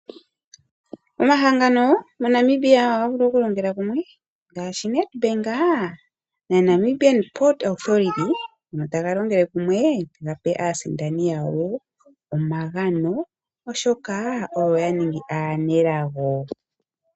Omahangano moNamibia ohaga vulu okulongela kumwe ngaashi NedBank na Namibian Port Authority ano taga longele kumwe gape aasindani yawo omagano oshoka oyo ya ningi aanelago.